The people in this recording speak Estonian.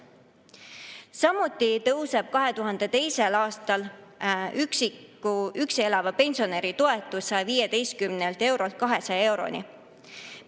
Samuti tõuseb 2022. aastal üksi elava pensionäri toetus 115 eurolt 200 euroni.